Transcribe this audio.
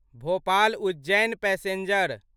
Bhopal Ujjain passenger